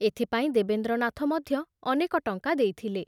ଏଥିପାଇଁ ଦେବେନ୍ଦ୍ରନାଥ ମଧ୍ୟ ଅନେକ ଟଙ୍କା ଦେଇଥିଲେ।